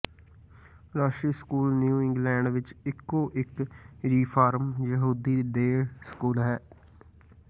ਰਸ਼ੀ school New England ਵਿਚ ਇਕੋ ਇਕ ਰੀਫਾਰਮ ਯਹੂਦੀ ਡੇ ਸਕੂਲ ਹੈ